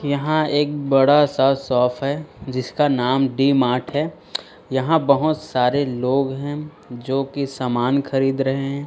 यहां एक बड़ा सा शॉप है जिसका नाम डी मार्ट है यहां बहोत सारे लोग हैं जोकि सामान खरीद रहे हैं।